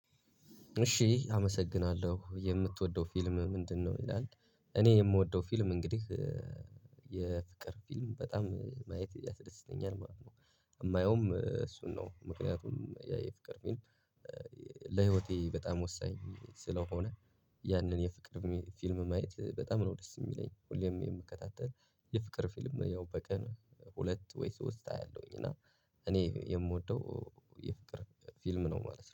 እሺ አመሰግናለሁ የምትወደው ፊልም ምንድነው? ይላል እኔ የምወደው ፊልም እንግዲህ የፍቅር ፊልም በጣም ማየት ያስደስተኛል ማለት ነው የማየውም እሱን ነው ምክንያቱም የፍቅር ፊልም። ለህይወቴ በጣም ወሳኝ ስለሆነ ያንን የፍቅር ፊልም ማየት በጣም ነው ደስ የሚለኝ ሁሌም የምከታተል። የፍቅር ፊልም ያው በቀን ሁለት ወይስ ሶስት አያለውኝ እና እኔ የምወደው የፍቅር ፊልም ነው። ማለት ነው